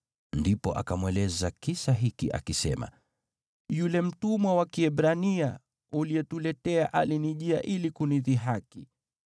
Ndipo akamweleza kisa hiki, akisema: “Yule mtumwa wa Kiebrania uliyetuletea alinijia ili kunidhihaki.